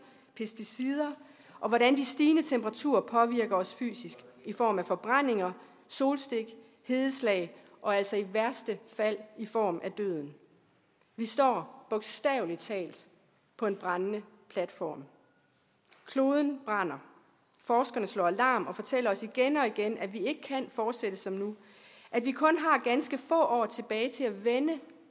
pesticider og hvordan de stigende temperaturer påvirker os fysisk i form af forbrændinger solstik hedeslag og altså i værste fald i form af døden vi står bogstavelig talt på en brændende platform kloden brænder forskerne slår alarm og fortæller os igen og igen at vi ikke kan fortsætte som nu at vi kun har ganske få år tilbage til at vende